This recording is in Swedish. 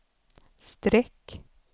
streck